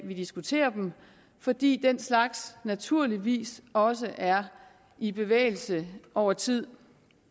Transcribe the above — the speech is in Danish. vi diskuterer dem fordi den slags naturligvis også er i bevægelse over tid